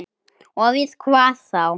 Og við hvað þá?